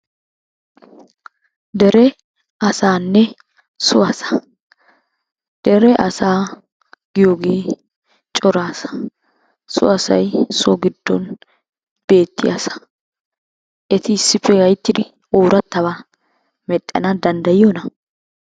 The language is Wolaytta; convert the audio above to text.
Dere asaanne so asaa. Dere asaa giyogee cora asaa. So asay so giddon beettiya asaa. Eti issippe gayittidi oorattabaa medhdhana danddayiyonaa?